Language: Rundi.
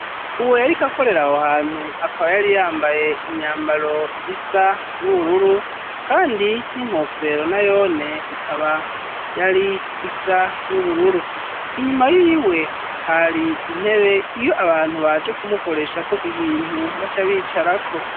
Uwo yariko akorera aho hantu, akaba yari yambaye imyambaro isa n'ubururu kandi n'inkofero nayone ikaba yari isa n'ubururu. Inyuma yiwe hari intebe iyo abantu baje kumukoreshako ibintu baca bicarako.